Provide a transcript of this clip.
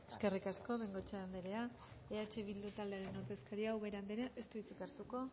eskerrik asko bengoechea anderea eh bildu taldearen ordezkariak ubera andereak ez du hitzik hartuko